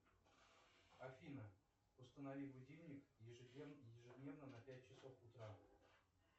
афина установи будильник ежедневно на пять часов утра